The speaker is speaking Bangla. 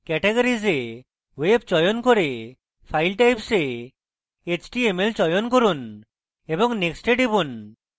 categories এ web চয়ন করে file types এ html চয়ন করুন এবং next এ টিপুন